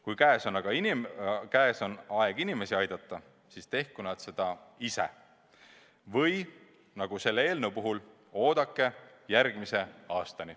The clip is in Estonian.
Kui käes on aeg inimesi aidata, siis tehku nad seda ise või nagu selle eelnõu puhul, oodake järgmise aastani.